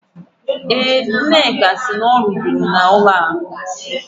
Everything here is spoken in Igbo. Eh, Nneka si na ọ ruburu na Bank.